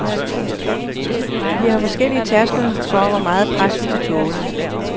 Vi har forskellige tærskler for, hvor meget pres, vi kan tåle.